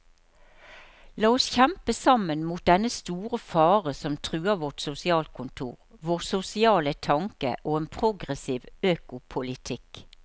La oss kjempe sammen mot dennne store fare som truer vårt sosialkontor, vår sosiale tanke og en progressiv økopolitikk.